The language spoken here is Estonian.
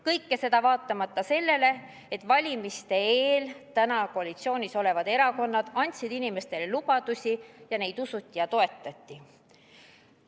Kõike seda vaatamata sellele, et valimiste eel andsid praegu koalitsioonis olevad erakonnad inimestele lubadusi ja neid usuti ja toetati.